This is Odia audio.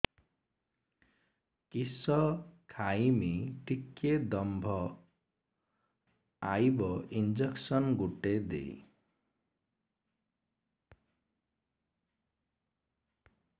କିସ ଖାଇମି ଟିକେ ଦମ୍ଭ ଆଇବ ଇଞ୍ଜେକସନ ଗୁଟେ ଦେ